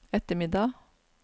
ettermiddag